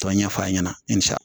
Tɔn ɲɛfɔ a ɲɛna